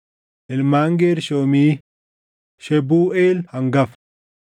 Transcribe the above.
Ilmaan Geershoomii: Shebuuʼeel hangafa.